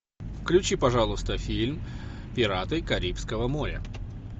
включи пожалуйста фильм пираты карибского моря